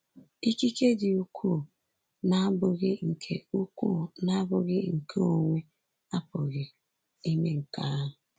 Ikike dị ukwuu na-abụghị nke ukwuu na-abụghị nke onwe apụghị ime nke ahụ.